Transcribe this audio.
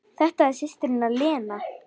Þetta er systir hennar Lena.